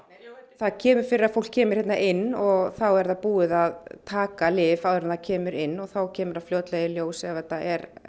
það kemur fyrir að fólk kemur hérna inn og þá er það búið að taka lyf áður en það kemur inn og þá kemur það fljótlega í ljós ef þetta er